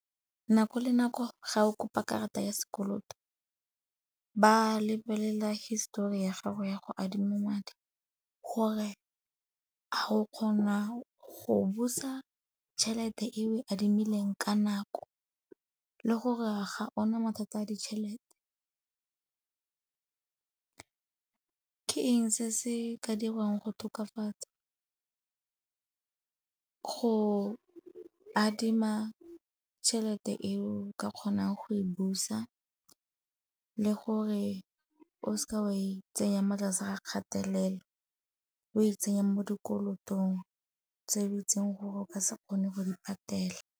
Nako le nako ga o kopa karata ya sekoloto ba lebelela histori ya gago ya go adima madi gore go kgona go busa tšhelete e o adimileng ka nako le gore a ga ona mathata a ditšhelete. Ke eng se se ka dirwang go tokafatsa, go adima tšhelete eo ka kgonang go e busa le gore o seka wa e tsenya motlase ga kgatelelo, o e tsenye mo dikolotong tse o itseng gore o ka se kgone go di patelela.